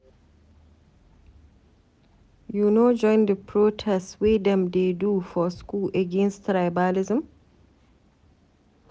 You no join di protest wey dem dey do for school against tribalism?